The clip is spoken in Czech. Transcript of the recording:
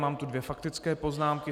Mám tu dvě faktické poznámky.